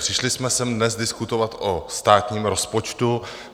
Přišli jsme sem dnes diskutovat o státním rozpočtu.